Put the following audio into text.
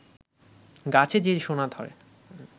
গাছে যে সোনা ধরে